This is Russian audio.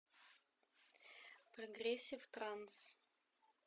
прогрессив транс